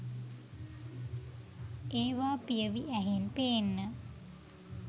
ඒවා පියවි ඇහෙන් පේන්න